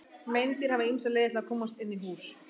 Meindýr hafa ýmsar leiðir til að komast inn í hús.